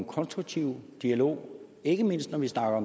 konstruktiv dialog ikke mindst når vi snakker om